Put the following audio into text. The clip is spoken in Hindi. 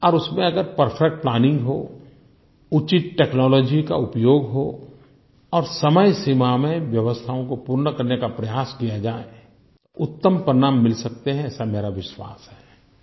और उसमें अगर परफेक्ट प्लानिंग हो उचित टेक्नोलॉजी का उपयोग हो और समयसीमा में व्यवस्थाओं को पूर्ण करने का प्रयास किया जाए उत्तम परिणाम मिल सकते हैं ऐसा मेरा विश्वास है